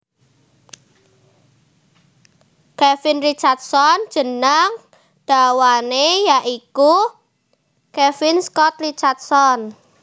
Kevin Richardson jeneng dawané ya iku Kevin Scott Richardson